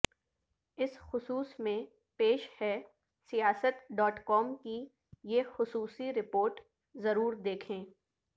اس خصوص میں پیش ہے سیاست ڈاٹ کام کی یہ خصوصی رپورٹ ضرور دیکھیں